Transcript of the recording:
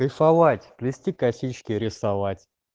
кайфовать плести косички рисовать